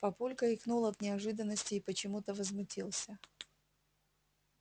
папулька икнул от неожиданности и почему-то возмутился